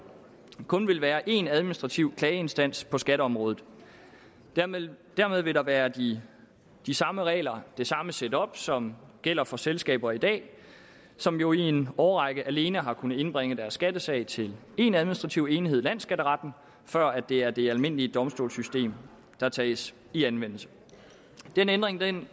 kun vil være én administrativ klageinstans på skatteområdet dermed dermed vil der være de de samme regler det samme set up som gælder for selskaber i dag som jo i en årrække alene har kunnet indbringe deres skattesag til én administrativ enhed nemlig landsskatteretten før det er det almindelige domstolssystem der tages i anvendelse den ændring kan